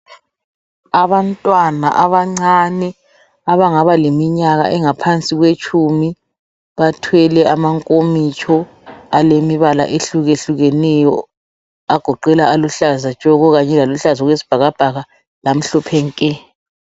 Abantwana abancane abangaba leminyaka engaphansi kwetshumi bathwele amankomitsho alemibala ehlukehlukeneyo agoqela aluhlaza tshoko kanye laluhlaza okwesibhakabhaka lamhlophe nke